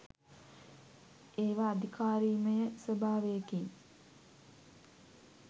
ඒව අධිකාරීමය ස්වභාවයකින්